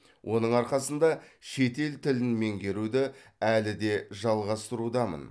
оның арқасында шетел тілін меңгеруді әлі де жалғастырудамын